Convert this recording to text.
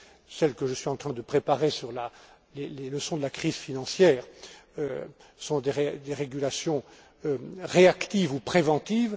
Celles que je suis en train de préparer sur les leçons de la crise financière sont des régulations réactives ou préventives.